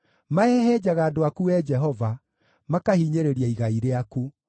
Mahehenjaga andũ aku, Wee Jehova, makahinyĩrĩria igai rĩaku.